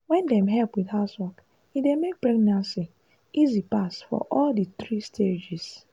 wen dem help with housework e dey make pregnancy easy pass for all di three stages.